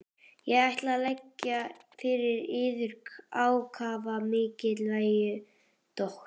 Ég ætla að leggja fyrir yður ákaflega mikilvæga spurningu, doktor.